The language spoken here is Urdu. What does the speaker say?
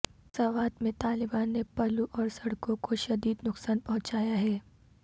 سوات میں طالبان نے پلوں اور سڑکوں کو شدید نقصان پہنچایا ہے